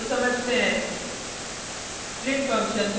प्रत्येक फंक्शन को समझते हैं